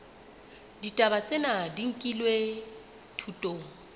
ditaba tsena di nkilwe thutong